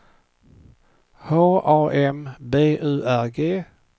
H A M B U R G